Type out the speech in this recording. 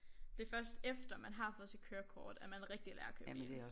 Det først efter man har fået sit kørekort at man rigtig lærer at køre bil